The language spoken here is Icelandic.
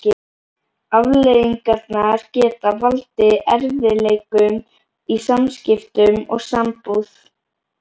Afleiðingarnar geta valdið erfiðleikum í samskiptum og sambúð.